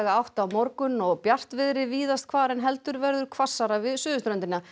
átt á morgun og bjartviðri víðast hvar en heldur verður hvassara við suðurströndina